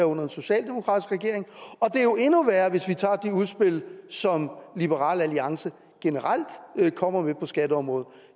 under en socialdemokratisk regering og det er jo endnu værre hvis vi tager de udspil som liberal alliance generelt kommer med på skatteområdet